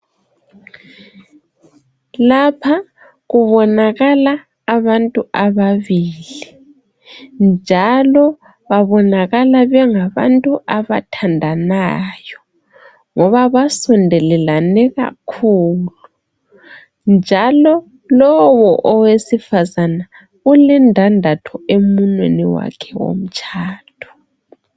Lapha kubonakala abantu ababili , njalo babonakala bengabantu abathandanayo ngoba basondelelane kakhulu njalo lowu owesifazana ulendandatho emunweni wakhe womtshado.